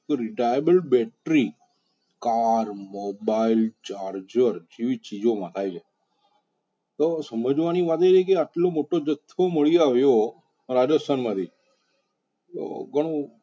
કે retrieval battery car mobile charger અવી ચિજો મા થાય છે તો સમજવાની વાત એ છે કે આટલો મોટો જથથો મળિ આવ્યો રાજસ્થાન માંથી તો ઘણુ.